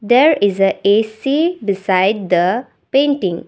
there is a A_C beside the painting.